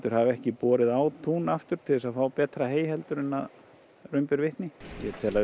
hafa ekki borið á tún aftur til þess að fá betra hey en raun ber vitni ég tel að